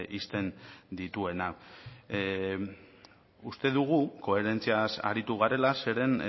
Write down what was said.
ixten dituena uste dugu koherentziaz aritu garela zeren